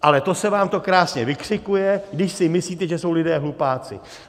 Ale to se vám to krásně vykřikuje, když si myslíte, že jsou lidé hlupáci.